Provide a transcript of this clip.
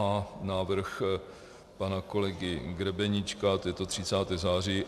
A návrh pana kolegy Grebeníčka, to je to 30. září.